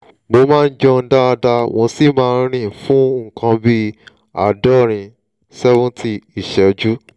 mo máa ń jẹun dáadáa mo sì máa ń rìn fún nǹkan bí àádọ́rin seventy ìṣẹ́jú